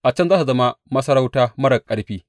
A can za su zama masarauta marar ƙarfi.